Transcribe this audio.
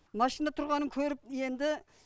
машина тұрғанын көріп енді